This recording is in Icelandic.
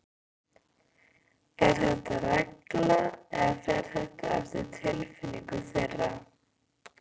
Er þetta regla eða fer þetta eftir tilfinningu þeirra?